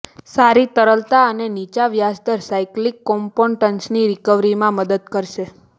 સારી તરલતા અને નીચા વ્યાજદર સાઇક્લિકલ કોમ્પોનન્ટ્સની રિકવરીમાં મદદ કરશે